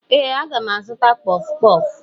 Ee, aga m azụta kpọfụ kpọfụ